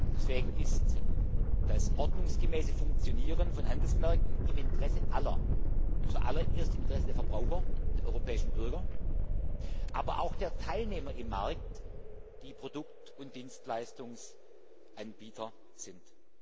Deswegen ist das ordnungsgemäße Funktionieren von Handelsmärkten im Interesse aller, zuallererst im Interesse der Verbraucher, der europäischen Bürger, aber auch der Teilnehmer am Markt, die Produkt und Dienstleistungsanbieter sind.